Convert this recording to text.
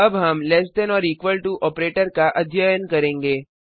अब हम less than or equal to operator का अध्ययन करेंगे